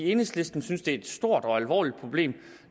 enhedslistens synes det er et stort og alvorligt problem